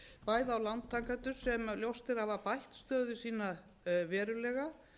bæði á lántakendur sem ljóst er að hafa bætt stöðu sína verulega